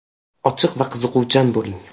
Ochiq va qiziquvchan bo‘ling.